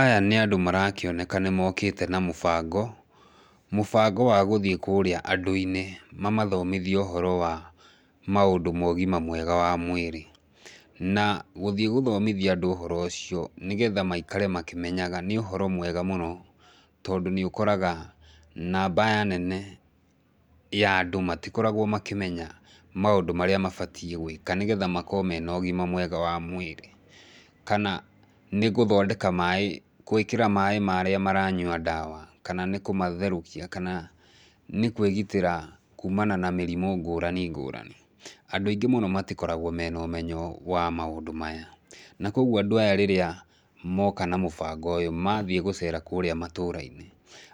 Aya nĩ andũ marakĩoneka nĩmokĩte na mũbango, mũbango wa gũthiĩ kũrĩa andũ -inĩ, mamathomithie ũhoro wa maũndũ ma ũgima mwega wa mwĩrĩ, na gũthiĩ gũthomithia andũ ũhoro ũcio nĩgetha maikare makĩmenyaga nĩ ũhoro mwega mũno, tondũ nĩ ũkoraga namba nene ya andũ matikoragwo makĩmenya maũndũ marĩa mabatiĩ gwĩlka nĩgetha makorwo mena ũgima mwega wa mwĩrĩ, kana nĩgũthondeka maĩ, gwĩkĩra maĩ marĩa maranyua ndawa, kana nĩkũmatherũkia, kana nĩ kwĩgitĩra kumana na mĩrimũ ngũrani ngũrani, andũ aingĩ mũno matikoragwo mena ũmenyo wa maũndũ maya, na koguo andũ aya rĩrĩa moka namũbango ũyũ, mathiĩ gũcera kũrĩa matũrainĩ,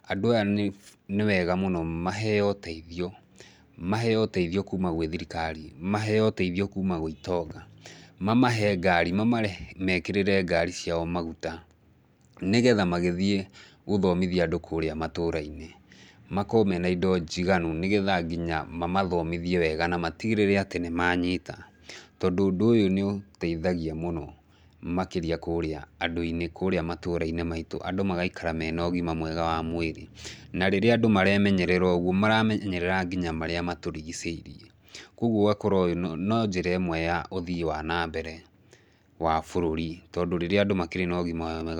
andũ aya nĩ nĩwega mũno maheo ũteithio, maheo ũteithio kuma gwĩ thirikari, maheo ũteithio kuma gwĩ itonga, mamahe ngari, mamekĩrĩre ngari ciao maguta, nĩgetha magĩthiĩ gũthomithia andũ kũrĩa matũrainĩ, makorwo mena indo njiganu nĩgetha nginya mamathomithie wega namatigĩrĩre atĩ nĩmanyita, tondũ ũndũ ũyũ nĩũteithagia mũno makĩrĩa kũrĩa andũ inĩ, kũrĩa matũrainĩ maitũ, andũ magaikara mena ũgima mwega wa mwĩrĩ, na rĩrĩa andũ maremenyerera ũguo, maramenyerera nginya marĩa matũrigicĩirie, koguo ũgakorwo no njĩra ĩmwe ya ũthii wa nambere, wa bũrũri tondũ rĩrĩa andũ makĩrĩ na ũgima mwega wa.